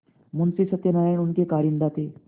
मुंशी सत्यनारायण उनके कारिंदा थे